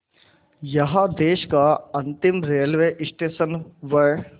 यहाँ देश का अंतिम रेलवे स्टेशन व